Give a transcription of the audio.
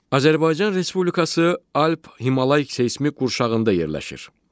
Azərbaycan Respublikası Alp-Himalay seysmik qurşağındadır.